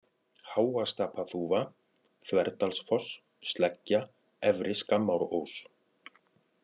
Háastapaþúfa, Þverdalsfoss, Sleggja, Efri-Skammárós